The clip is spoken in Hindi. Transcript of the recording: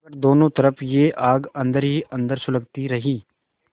मगर दोनों तरफ यह आग अन्दर ही अन्दर सुलगती रही